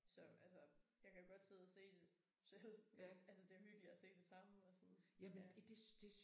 Så altså jeg kan godt sidde og se det selv men altså det hyggeligere at se det sammen og sådan ja